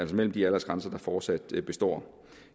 mellem de aldersgrænser der fortsat består